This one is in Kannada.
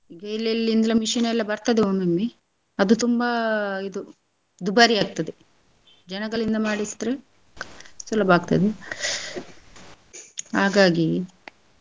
ಎಲ್ಲೆಲಿಂದ machine ಎಲ್ಲ ಬರ್ತದೆ ಒಮ್ಮೊಮ್ಮೆ ಅದು ತುಂಬಾ ಇದು ದುಬಾರಿಯಾಗ್ತದೆ ಜನಗಳಿಂದ ಮಾಡಿಸಿದ್ರೆ ಸುಲಭ ಆಗ್ತದೆ ಹಾಗಾಗಿ.